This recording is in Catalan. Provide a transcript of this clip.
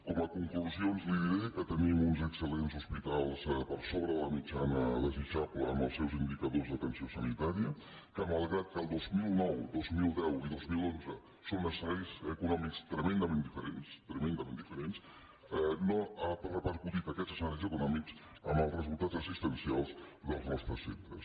com a conclusions li diré que tenim uns excel·lents hospitals per sobre de la mitjana desitjable en els seus indicadors d’atenció sanitària que malgrat que dos mil nou dos mil deu i dos mil onze són escenaris econòmics tremendament diferents tremendament diferents no han repercutit aquests escenaris econòmics en els resultats assistencials dels nostres centres